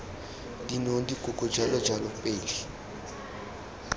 dinong dikoko jalo jalo pele